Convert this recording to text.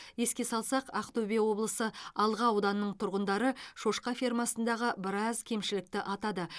еске салсақ ақтөбе облысы алға ауданының тұрғындары шошқа фермасындағы біраз кемшілікті атады